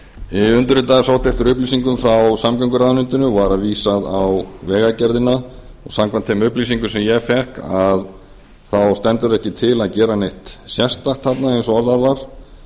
sögunnar undirritaður sóttist eftir upplýsingum frá samgönguráðuneytinu og var vísað á vegagerðina samkvæmt þeim upplýsingum sem ég fékk stendur ekki til að gera neitt sérstakt þarna eins og orðað